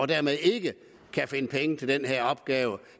dermed ikke kan finde penge til den her opgave